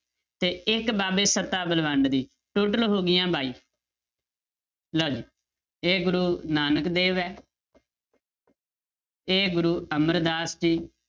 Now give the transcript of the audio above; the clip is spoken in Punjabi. ਤੇ ਇੱਕ ਬਾਬੇ ਸੱਤਾ ਬਲਵੰਡ ਦੀ total ਹੋ ਗਈਆਂ ਬਾਈ ਲਓ ਜੀ ਇਹ ਗੁਰੂ ਨਾਨਕ ਦੇਵ ਹੈ ਇਹ ਗੁਰੂ ਅਮਰਦਾਸ ਜੀ